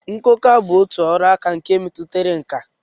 Nkụkwa bụ otu ọrụaka nke metụtara nkà